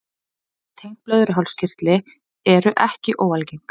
Vandamál tengd blöðruhálskirtli eru ekki óalgeng.